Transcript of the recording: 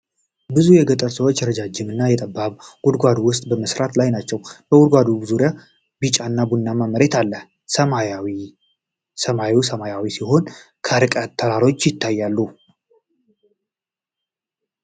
ብዙ የገጠር ሰዎች በረዥም እና ጠባብ ጉድጓድ ውስጥ በመስራት ላይ ናቸው። በጉድጓዱ ዙሪያ ቢጫና ቡናማ መሬት አለ። ሰማዩ ሰማያዊ ሲሆን ከርቀት ተራሮች ይታያሉ።